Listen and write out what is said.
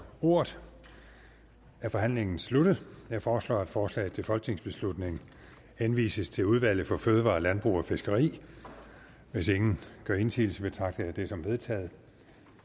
ordet er forhandlingen sluttet jeg foreslår at forslaget til folketingsbeslutning henvises til udvalget for fødevarer landbrug og fiskeri hvis ingen gør indsigelse betragter jeg det som vedtaget